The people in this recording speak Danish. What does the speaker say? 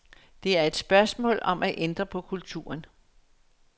Det er et spørgsmål om at ændre på kulturen.